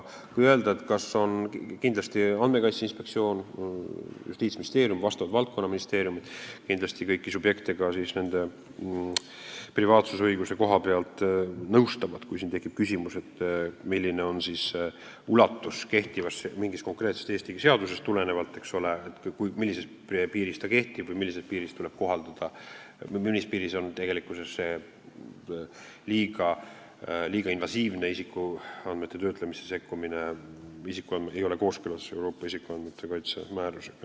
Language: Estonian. Andmekaitse Inspektsioon, Justiitsministeerium ja vastavad valdkonnaministeeriumid kindlasti kõiki subjekte ka privaatsusõiguse koha pealt nõustavad, kui tekib küsimusi, milline on õiguse ulatus mingist konkreetsest Eesti seadusest tulenevalt, millises piiris ta kehtib või millal tekib see liiga invasiivne isikuandmete töötlemisse sekkumine, millal ei ole kooskõla Euroopa isikuandmete kaitse määrusega.